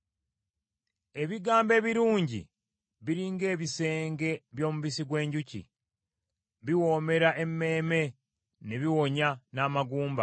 Ebigambo ebirungi biri ng’ebisenge by’omubisi gw’enjuki, biwoomera emmeeme, ne biwonya n’amagumba.